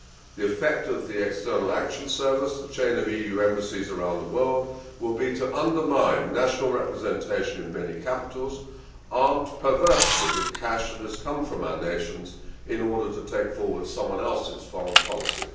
The effect of the External Action Service, the chain of EU embassies around the world, will be to undermine national representation in many capitals, armed perversely with cash that has come from our nations in order to take forward someone else's foreign policy.